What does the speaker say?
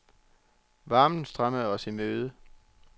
Varmen strømmede os i møde.